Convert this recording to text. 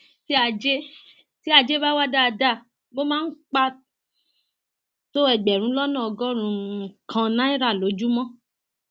tí ajé tí ajé bá wà dáadáa mo máa ń um pa tó ẹgbẹrún lọnà ọgọrùnún um kan náírà lójúmọ